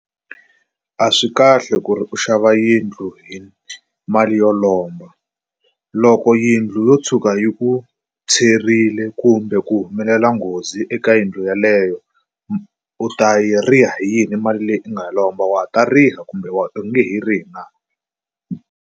A swi kahle ku ri u xava yindlu hi mali yo lomba loko yindlu yo tshuka yi ku tshwerile kumbe ku humelela nghozi eka yindlu yeleyo u ta yi riha hi yini mali leyi u nga yi lomba wa ta riha kumbe u nge he rihi na?